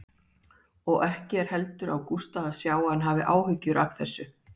Og ekki er heldur á Gústa að sjá að hann hafi áhyggjur af þessu.